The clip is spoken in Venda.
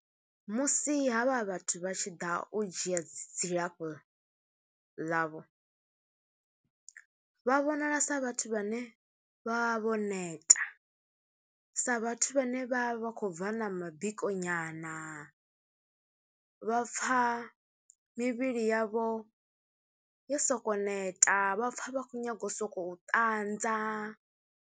Musi havha vhathu vha tshi ḓa u dzhia dzilafho ḽavho, vha vhonala sa vhathu vhane vha vho neta, sa vhathu vhane vha vha khou bva na mabiko nyana, vha pfha mivhili yavho yo sokoU neta, vha pfHa vha khoU nyaga u sokou ṱanza.